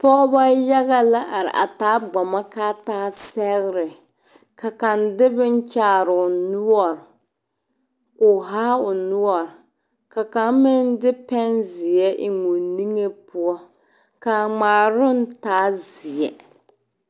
Pɔgeba yaga la are a taa bomoɔkaata sɛgre ka kaŋa de boŋ kyaare o noɔre k'o haa o noɔre ka kaŋ meŋ de pɛnzeɛ eŋ o niŋe poɔ ka a ŋmaaroŋ taa seɛ.